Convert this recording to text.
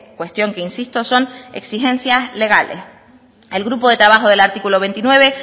cuestión que insisto son exigencias legales el grupo de trabajo del artículo veintinueve